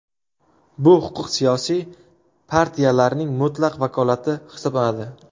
Bu huquq siyosiy partiyalarning mutlaq vakolati hisoblanadi.